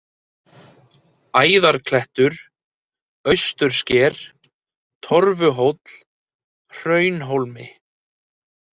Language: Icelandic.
Æðarklettur, Austursker, Torfuhóll, Hraunhólmi